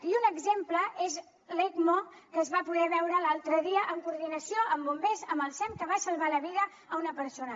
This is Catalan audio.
i un exemple és l’ecmo que es va poder veure l’altre dia en coordinació amb bombers amb el sem que va salvar la vida a una persona